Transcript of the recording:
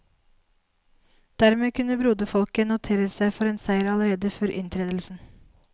Dermed kunne broderfolket notere seg for en seier allerede før inntredelsen.